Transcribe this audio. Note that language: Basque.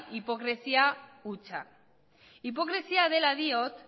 hipokresia hutsa hipokresia dela diot